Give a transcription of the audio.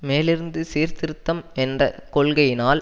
மேலிருந்து சீர்திருத்தம் என்ற கொள்கையினால்